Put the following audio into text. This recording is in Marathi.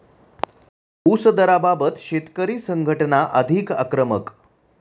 ऊस दराबाबत शेतकरी संघटना अधिक आक्रमक